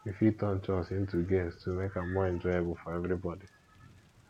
we fit turn chores into games to make am more enjoyable for everybody